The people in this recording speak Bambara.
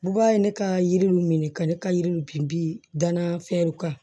Buba ye ne ka yiriw minɛ ka ne ka yiriw binbi danna fɛnw kan